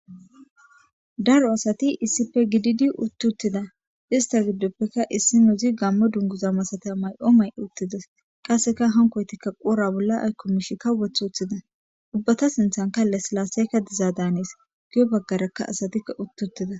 daro asati issife gididi uttuttida ista giddoppeka issi nuuzi gammo dunguza masata may7o may uttides qasseka hankoytikka qoora bolla aykkomishi ka weth uthida ubbata sinthan kalle silaaseyka diza daanes giyo baggarakka asatia uttuttida